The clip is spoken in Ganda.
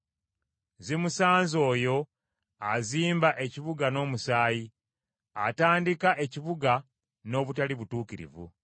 Zimusanze oyo azimba ekibuga n’omusaayi, atandika ekibuga n’obutali butuukirivu.